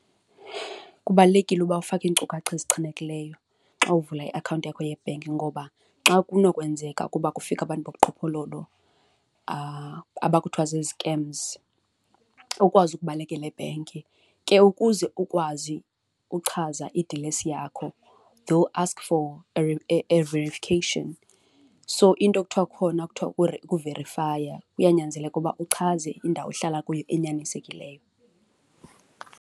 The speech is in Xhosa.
Kubalulekile uba ufake iinkcukacha ezichanekileyo xa uvula iakhawunti yakho yebhenki ngoba xa kunokwenzeka ukuba kufike abantu bubuqhophololo aba kuthiwa zi-scams, ukwazi ukubalekela ebhenki. Ke ukuze ukwazi uchaza idilesi yakho, they will ask for a verification. So into ekuthiwa khona kuthiwa kuverifaya, kuyanyanzeleka ukuba uchaze indawo ohlala kuyo enyanisekileyo.